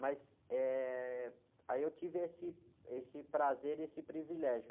Mas, eh, aí eu tive esse, esse prazer e esse privilégio.